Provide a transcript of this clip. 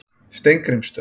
Steingrímsstöð